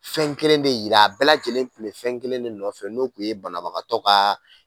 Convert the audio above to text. Fɛn kelen de jira, a bɛɛ lajɛlen de tun bɛ fɛn kelen de nɔfɛ n'o tun ye banabagatɔ ka